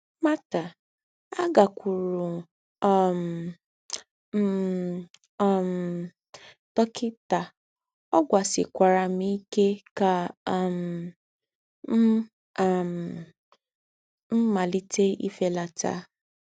Marta: “Àgákwúúrù um m um dọ́kità, ọ̀ gwásíkwàrà m íké ká um m̀ um m̀ màlíté ìfélátà